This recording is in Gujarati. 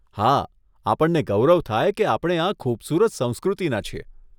હા, આપણને ગૌરવ થાય કે આપણે આ ખુબસુરત સંસ્કૃતિના છીએ.